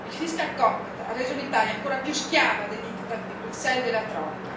Il ha reso l'Italia ancora più schiava dei diktat di Bruxelles e della troika.